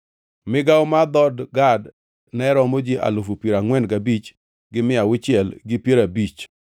Migawo mar dhood Gad ne romo ji alufu piero angʼwen gabich gi mia auchiel gi piero abich (45,650).